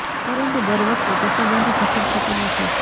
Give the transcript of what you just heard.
પરંતુ દર વખતે તે સંબંધ સફળ થતો નથી